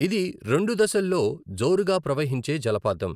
ఇది రెండు దశల్లో జోరుగా ప్రహవించే జలపాతం.